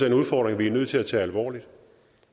en udfordring vi er nødt til at tage alvorligt